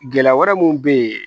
Gɛlɛya wɛrɛ mun bɛ yen